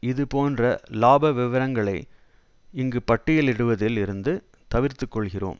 இது போன்ற இலாப விவரங்களை இங்கு பட்டியலிடுவதில் இருந்து தவிர்த்துக்கொள்கிறோம்